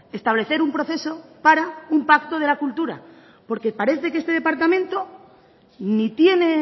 establecer un proceso para un pacto de la cultura porque parece que este departamento ni tiene